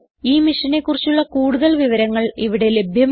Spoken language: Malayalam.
ഈ മിഷനെ കുറിച്ചുള്ള കുടുതൽ വിവരങ്ങൾ ഇവിടെ ലഭ്യമാണ്